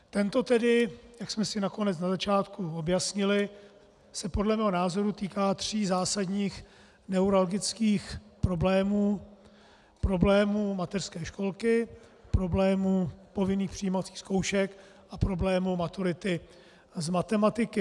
Tento tedy, jak jsme si nakonec na začátku objasnili, se podle mého názoru týká tří zásadních neuralgických problémů: problému mateřské školky, problému povinných přijímacích zkoušek a problému maturity z matematiky.